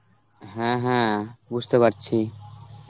হ্যাঁ হ্যাঁ বুঝতে পারছি.